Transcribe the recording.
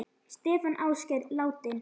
Stefán Ásgeir, látinn.